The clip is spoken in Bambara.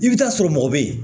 I bɛ taa sɔrɔ mɔgɔ bɛ ye